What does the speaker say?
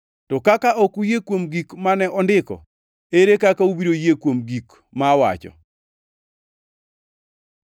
To kaka ok uyie kuom gik mane ondiko, ere kaka ubiro yie kuom gik ma awacho?”